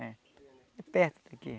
É perto daqui.